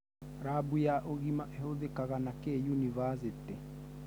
Labu ya ũgima ĩhũthĩkaga nakĩĩ yunivasĩtĩ?